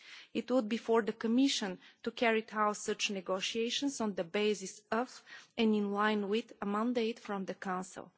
It would be for the Commission to carry out such negotiations, on the basis of, and in line with, a mandate from the Council.